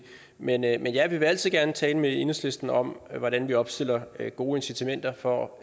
men jeg men jeg vil jo altid gerne tale med enhedslisten om hvordan vi opstiller gode incitamenter for